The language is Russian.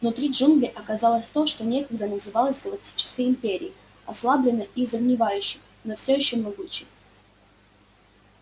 внутри джунглей оказалось то что некогда называлось галактической империей ослабленной и загнивающей но всё ещё могучей